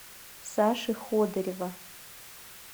саши ходырева